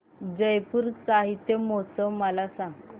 जयपुर साहित्य महोत्सव मला सांग